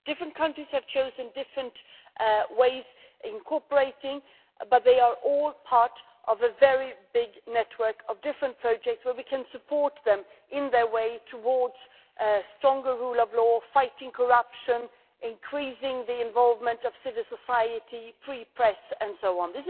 Different countries have chosen different ways of incorporating, but they are all part of a very big network of different projects where we can support them on their way towards a stronger rule of law, fighting corruption, increasing the involvement of civil society, free press, and so on.